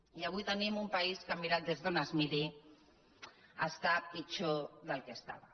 i avui tenim un país que mirat des d’on es miri està pitjor del que estava